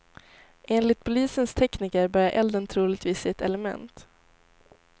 Enligt polisens tekniker började elden troligtvis i ett element.